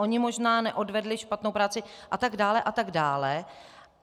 Oni možná neodvedli špatnou práci atd. atd.